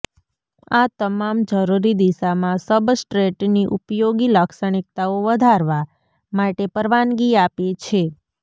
આ તમામ જરૂરી દિશામાં સબસ્ટ્રેટની ઉપયોગી લાક્ષણિકતાઓ વધારવા માટે પરવાનગી આપે છે